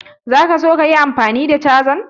Za ka so ka yi amfani da cajan?